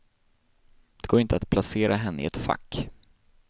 Det går inte att placera henne i ett fack.